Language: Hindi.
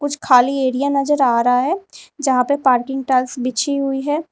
कुछ खाली एरिया नजर आ रहा है जहां पर पार्किंग टाइल्स बिछी हुई है।